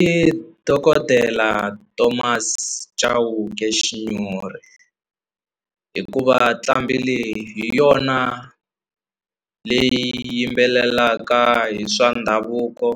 I dokodela Thomas Chauke Xinyori hikuva tlambi leyi hi yona leyi yimbelelaka hi swa ndhavuko